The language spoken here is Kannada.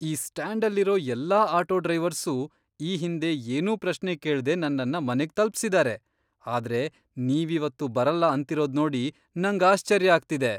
ಈ ಸ್ಟ್ಯಾಂಡಲ್ಲಿರೋ ಎಲ್ಲಾ ಆಟೋ ಡ್ರೈವರ್ಸೂ ಈ ಹಿಂದೆ ಏನೂ ಪ್ರಶ್ನೆ ಕೇಳ್ದೆ ನನ್ನನ್ನ ಮನೆಗ್ ತಲ್ಪ್ಸಿದಾರೆ, ಆದ್ರೆ ನೀವಿವತ್ತು ಬರಲ್ಲ ಅಂತಿರೋದ್ನೋಡಿ ನಂಗ್ ಆಶ್ಚರ್ಯ ಆಗ್ತಿದೆ!